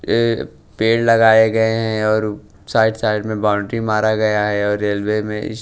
ए पेड़ लगाए गए हैं और साइड साइड में बाउंड्री मारा गया है और रेलवे में इस--